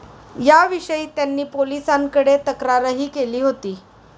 याविषयी त्यांनी पोलिसांकडे तक्रारही केली होती.